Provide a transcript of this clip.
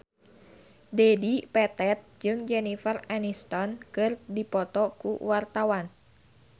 Dedi Petet jeung Jennifer Aniston keur dipoto ku wartawan